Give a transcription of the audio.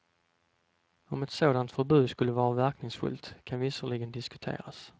Om ett sådant förbud skulle vara verkningsfullt kan visserligen diskuteras.